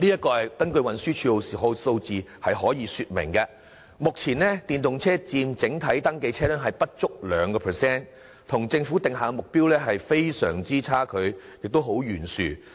根據運輸署的數字，目前電動車佔整體登記車輛不足 2%， 與政府定下的目標有相當懸殊的差距。